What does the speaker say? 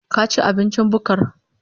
Ka ci abincin bukkar?